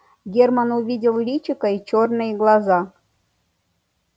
герман увидел личико и чёрные глаза